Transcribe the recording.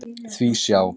Því sjá!